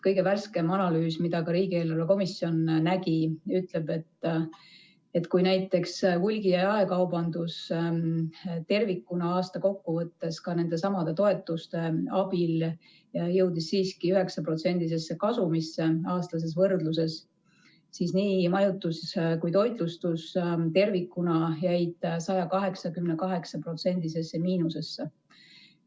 Kõige värskem analüüs, mida ka riigieelarve kontrolli komisjon nägi, ütleb, et kui näiteks hulgi- ja jaekaubandus tervikuna aasta kokkuvõttes ka nendesamade toetuste abil jõudis siiski 9%-lisse kasumisse aastases võrdluses, siis majutus ja toitlustus tervikuna jäid 188%-lisse miinusesse.